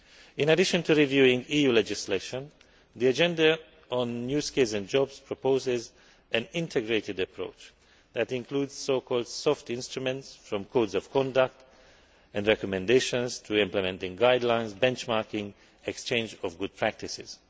In addition to reviewing EU legislation, the agenda on new skills and jobs proposes an integrated approach that includes so called soft instruments from codes of conduct and recommendations to implementing guidelines, benchmarking and exchange of good practices.